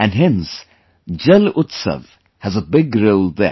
And hence 'JalUtsav' has a big role there